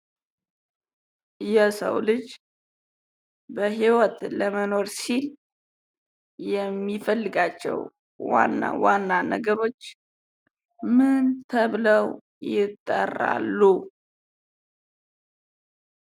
የሰው ልጅ በህይወት ለመኖር ሲል የሚፈልጋቸው ዋና ዋና ነገሮች ምን ተብለው ይጠራሉ?